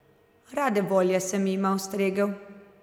Rade volje sem jima ustregel.